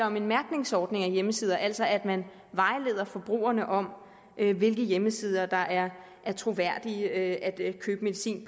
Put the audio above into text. om en mærkningsordning af hjemmesider altså om at man vejleder forbrugerne om hvilke hjemmesider der er troværdige at købe medicin